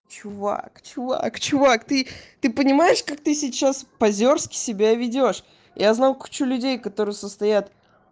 чувак чувак чувак ты ты понимаешь как ты сейчас позерске себя ведёшь я знаю кучу людей которые состоят